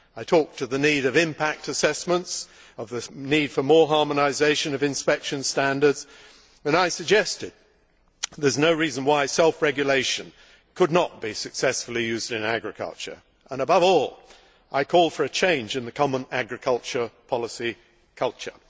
I talked of the need for impact assessments, of the need for more harmonisation of inspection standards, and I suggested that there is no reason why self regulation could not be successfully used in agriculture. Above all, I call for a change in the common agricultural policy culture.